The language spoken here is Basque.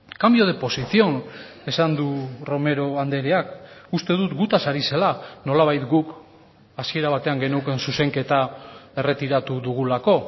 cambio de posición esan du romero andreak uste dut gutaz ari zela nolabait guk hasiera batean geneukan zuzenketa erretiratu dugulako